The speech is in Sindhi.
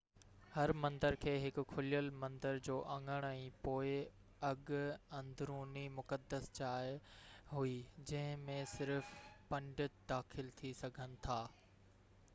هر مندر کي هڪ کليل مندر جو اڱڻ ۽ پوءِ هڪ اندروني مقدس جاءِ هئي جنهن ۾ صرف پنڊت داخل ٿي سگهن ٿا